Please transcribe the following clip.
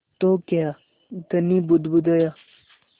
तो क्या धनी बुदबुदाया